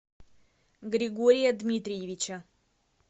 григория дмитриевича